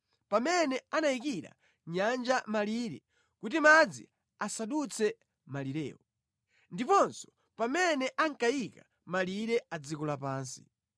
pamene anayikira nyanja malire kuti madzi asadutse malirewo, ndiponso pamene ankayika malire a dziko lapansi.